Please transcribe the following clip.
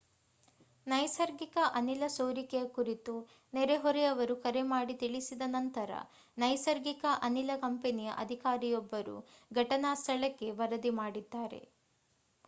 ನೈಸರ್ಗಿಕ ಅನಿಲ ಸೋರಿಕೆಯ ಕುರಿತು ನೆರೆಹೊರೆಯವರು ಕರೆ ಮಾಡಿ ತಿಳಿಸಿದ ನಂತರ ನೈಸರ್ಗಿಕ ಅನಿಲ ಕಂಪನಿಯ ಅಧಿಕಾರಿಯೊಬ್ಬರು ಘಟನಾ ಸ್ಥಳಕ್ಕೆ ವರದಿ ಮಾಡಿದ್ದಾರೆ